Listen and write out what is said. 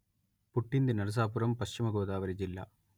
పుట్టింది నరసాపురం పశ్చిమ గోదావరి జిల్లా